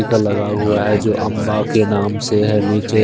का लगा हुआ है जो अंबा के नाम से है नीचे--